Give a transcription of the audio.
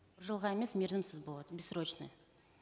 жылға емес мерзімсіз болады бессрочный